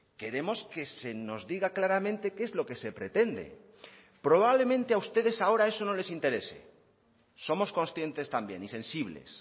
queremos que se nos diga claramente qué es lo que se pretende probablemente a ustedes ahora eso no les interese somos conscientes también y sensibles